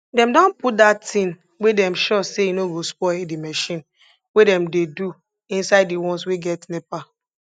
dem don put dat thing wey dem sure say e no go spoil de marchin wey dem dey do inside de ones wey get nepa